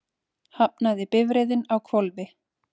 Hafnaði bifreiðin á hvolfi